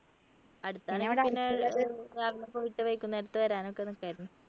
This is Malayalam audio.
അടുണെങ്കിൽ രാവിലെ പോയിട്ട് വൈകുന്നേരത്ത് വരാനൊക്കെ നിക്കായിരുന്നു